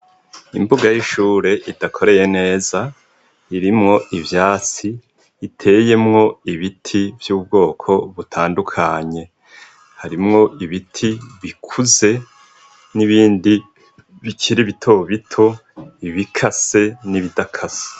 Imbuga y'ishure idakoreye neza irimwo ivyasi iteyemwo ibiti vy'ubwoko butandukanye harimwo ibiti bikuze n'ibindi bikiribitobito ibikase n'ibidakase.